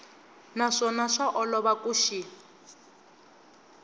naswona swa olova ku xi